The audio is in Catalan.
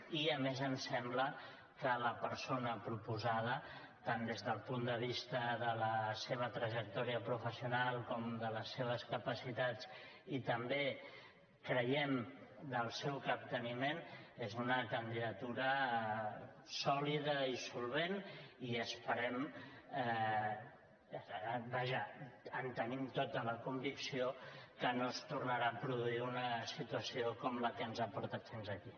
i a més ens sembla que la persona proposada tant des del punt de vista de la seva trajectòria professional com de les seves capacitats i també creiem del seu capteniment és una candidatura sòlida i solvent i esperem vaja en tenim tota la convicció que no es tornarà a produir una situació com la que ens ha portat fins aquí